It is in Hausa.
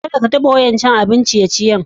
Kada ka taba wa'incan abin ciye-ciye gobe.